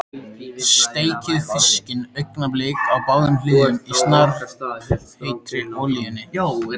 Steikið fiskinn augnablik á báðum hliðum í snarpheitri olíunni.